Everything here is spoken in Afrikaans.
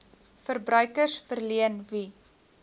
verbruikers verleen wie